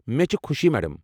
مےٚ چھِ خوشی، میڑم۔